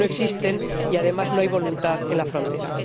Porque no existen y, además, no hay voluntad en la frontera.